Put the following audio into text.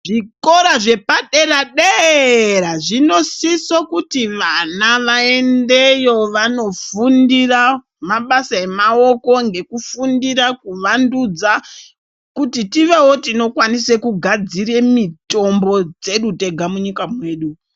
Zvikora zvepadera-dera zvinosiso kuti vana vaendeyo vanofundira mabasa emaoko ngekufundira kuvandudza kuti tivewo tinokwanise kugadzire mitombo dzedu tenga munyika mwedu muno.